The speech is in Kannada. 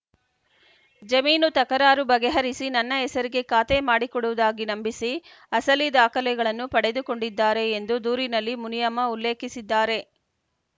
ಜಮೀನು ತಕರಾರು ಬಗೆಹರಿಸಿ ನನ್ನ ಹೆಸರಿಗೆ ಖಾತೆ ಮಾಡಿಕೊಡುವುದಾಗಿ ನಂಬಿಸಿ ಅಸಲಿ ದಾಖಲೆಗಳನ್ನು ಪಡೆದುಕೊಂಡಿದ್ದಾರೆ ಎಂದು ದೂರಿನಲ್ಲಿ ಮುನಿಯಮ್ಮ ಉಲ್ಲೇಖಿಸಿದ್ದಾರೆ